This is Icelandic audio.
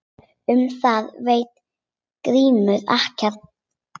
Um það veit Grímur ekkert.